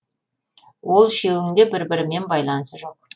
ол үшеуінің де бір бірімен байланысы жоқ